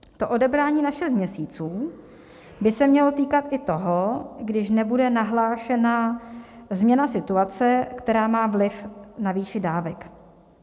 To odebrání na šest měsíců by se mělo týkat i toho, když nebude nahlášena změna situace, která má vliv na výši dávek.